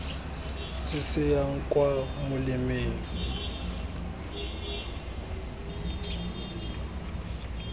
se se yang kwa molemeng